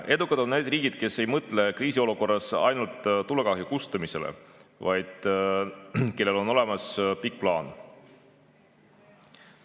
Edukad on need riigid, kes ei mõtle kriisiolukorras ainult tulekahju kustutamisele, vaid kellel on olemas pikk plaan.